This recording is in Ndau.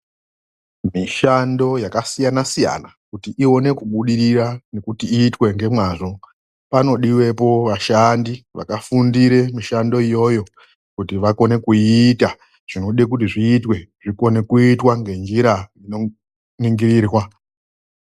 Mishando yakasiyana-siyana kuti ione kubudirira nekuti iitwe ngemazvo, panodiwepo vashandi vakafundira mishando iyoyo kuti vakone kuiita zvinodekuti zvitwe zvikone kuitwe nenjira inoningirwa.